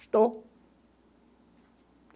Estou.